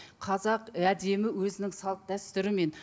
қазақ әдемі өзінің салт дәстүрімен